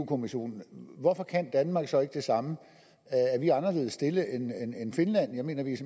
kommissionen hvorfor kan danmark så ikke gøre det samme er vi anderledes stillet end finland jeg mener vi